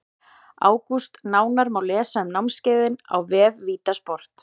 ÁGÚST Nánar má lesa um námskeiðin á vef VITA sport.